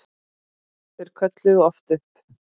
Þeir kölluðu oft upp